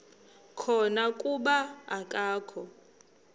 khona kuba akakho